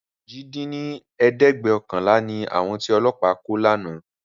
ojì dín ní ẹ̀ẹ́dẹ́gbẹ́ọ̀kànlá ni àwọn tí Ọlọ́pa kó ni àná